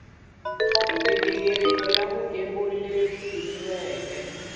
mighingiriko ya vugembuli leyi pimiweke